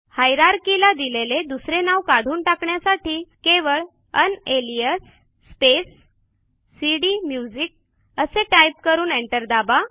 हायरार्कीला दिलेले दुसरे नाव काढून टाकण्यासाठी केवळ उनालियास स्पेस सीडीम्युझिक असे टाईप करू एंटर दाबा